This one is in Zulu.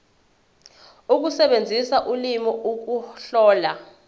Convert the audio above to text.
ukusebenzisa ulimi ukuhlola